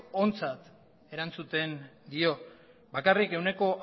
ontzat erantzuten dio bakarrik ehuneko